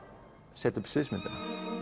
setja upp sviðsmyndina